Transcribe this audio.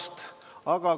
Ma tänan veel kord!